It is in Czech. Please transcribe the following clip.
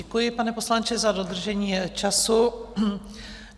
Děkuji, pane poslanče, za dodržení času.